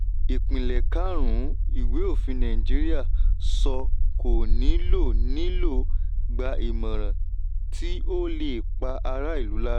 ìpìlẹ̀ karùn-ún ìwé òfin nàìjíríà sọ kò ní lọ ní lọ gbà ìmọ̀ràn tí ó lè pa ará ìlú lára.